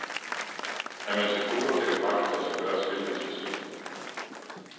Er man til poker, kan det faktisk lade sig gøre, at spille med sig selv.